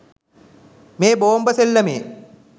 මේ බෝම්බ සෙල්ලමේ